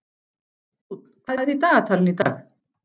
Dúnn, hvað er í dagatalinu í dag?